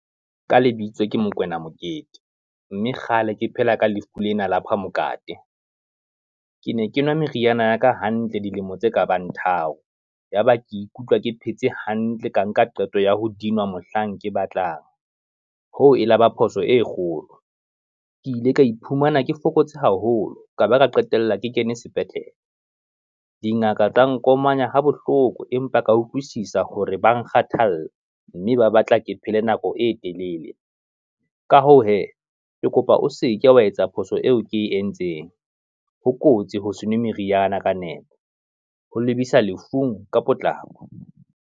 Ka lebitso ke Mokoena Mokete, mme kgale ke phela ka lefu lena la phamokate, ke ne ke nwa meriana ya ka hantle dilemo tse kabang tharo, yaba ke ikutlwa ke phetse hantle ka nka qeto ya ho dinwa mohlang ke batlang. Hoo e laba phoso e kgolo ke ile ka iphumana ke fokotse haholo, ka ba ka qetella ke kene sepetlele. Dingaka tsa nkomanya ha bohloko, empa ka utlwisisa hore ba kgathalla, mme ba batla ke phele nako e telele. Ka hoo hee, ke kopa o seke wa etsa phoso eo ke e entseng, ho kotsi ho se nwe meriana ka nepo, ho lebisa lefung ka potlako.